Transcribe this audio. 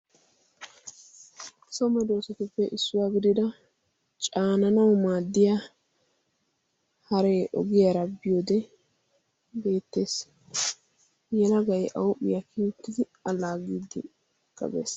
So medoosatuppe issuwaa gidida caananau maaddiya haree ogiyaara bbioode beettees yela gai auuphiyaa kiiuttidi alaa giiddi kabees.